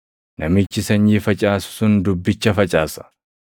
Namichi sanyii facaasu sun dubbicha facaasa.